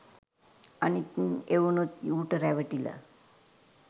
අනික්‌ එඋනුත් ඌට රැවටිලා